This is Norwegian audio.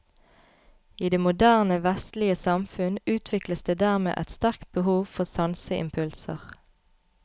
I det moderne vestlige samfunn utvikles det dermed et sterkt behov for sanseimpulser.